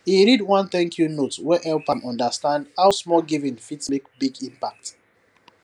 he read one thankyou note wey help am understand how small giving fit make big impact